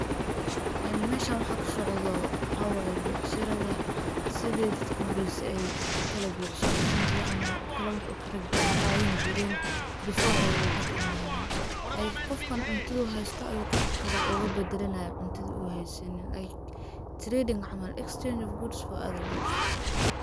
Meshan waxa kasocda waxa way biashara da sidey dadka horese ay ukala becsharesan jiren ama wax ukala qadan jiren, before ay lacag imanin qofkan cuntadu haysto ayu qofkale ogabadalanay cuntada uu haysanin like[csc][csc]trading camal[csc]exchange of good for other goods.